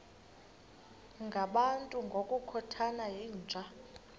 ngabantu ngokukhothana yinja